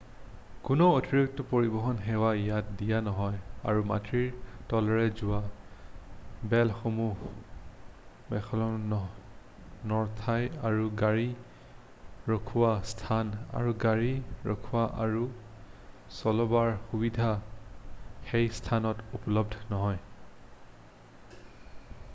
কোনো অতিৰিক্ত পৰিবহন সেৱা ইয়াত দিয়া নহয় আৰু মাটিৰ তলেৰে যোৱা ৰেলসমূহ ৱেম্বলেইত নৰখায় আৰু গাড়ী ৰখোৱা স্থান আৰু গাড়ী ৰখোৱা আৰু চলোৱাৰ সুবিধা সেই স্থানত উপলব্ধ নহয়